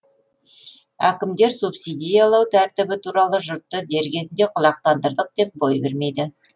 әкімдер субсидиялау тәртібі туралы жұртты дер кезінде құлақтандырдық деп бой бермейді